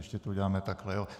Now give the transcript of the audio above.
Ještě to uděláme takhle.